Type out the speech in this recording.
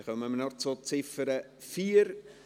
Dann kommen wir noch zur Ziffer 4.